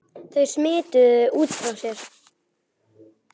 Þau smituðu út frá sér.